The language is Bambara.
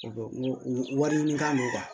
wari ɲini kan don